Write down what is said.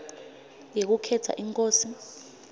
yekukhetsa inkosi